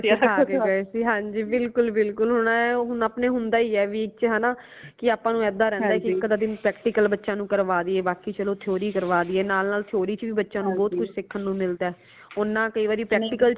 madam ਹੈਗੇ ਸੀ ਸਿੱਖਾਂ ਕੇ ਗਏ ਸੀ ਹਾਂਜੀ ਹਾਂਜੀ ਬਿਲਕੁਲ ਬਿਲਕੁਲ ਹੁਣ ਐ ਹੁਣ ਆਪਣੇ ਹੁੰਦਾ ਹੀ ਹੈ ਵਿਚ ਹੇਨਾ ਕਿ ਆਪਾ ਨੂ ਏਦਾਂ ਰਹਿੰਦਾ ਕਿ ਇਕ ਅੱਧਾ ਦਿਨ practical ਬੱਚਿਆਂ ਨੂ ਕਰਵਾ ਦਈਏ ਬਾਕੀ ਚਲੋ theory ਕਰਵਾ ਦਈਏ ਨਾਲ ਨਾਲ theory ਚ ਵੀ ਬੱਚਿਆਂ ਨੂ ਬਹੁਤ ਕੁਝ ਸਿਖਣ ਨੂੰ ਮਿਲਦਾ ਹੈ ਊਨਾ ਕਈ ਵਾਰੀ practical ਵਿੱਚ